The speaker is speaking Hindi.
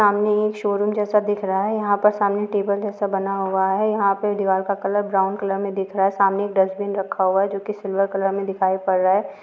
सामने एक शोरूम जैसा दिख रहा है यहाँ पर सामने टेबल जैसा बना हुआ है यहाँ पे दीवाल का कलर ब्राउन कलर में दिख रहा है सामने एक डस्टबिन रखा हुआ है जो कि सिल्वर कलर